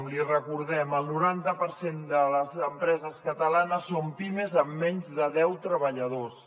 l’hi recordem el noranta per cent de les empreses catalanes són pimes amb menys de deu treballadors